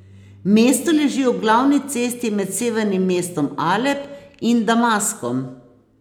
Mesto leži ob glavni cesti med severnim mestom Alep in Damaskom.